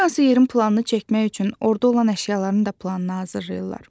Hər hansı yerin planını çəkmək üçün orda olan əşyaların da planını hazırlayırlar.